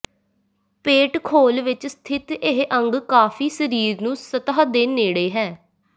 ਪੇਟ ਖੋਲ ਵਿਚ ਸਥਿਤ ਇਹ ਅੰਗ ਕਾਫੀ ਸਰੀਰ ਨੂੰ ਸਤਹ ਦੇ ਨੇੜੇ ਹੈ